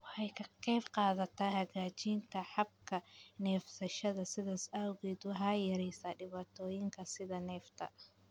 Waxay ka qaybqaadataa hagaajinta habka neefsashada, sidaas awgeed waxay yareysaa dhibaatooyinka sida neefta.